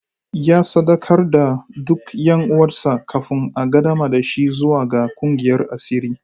Ya sadaukar da duk ’yan uwansa kafin a qaddamar da shi zuwa ga kungiyar asiri.